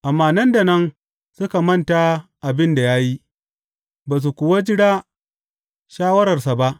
Amma nan da nan suka manta abin da ya yi ba su kuwa jira shawararsa ba.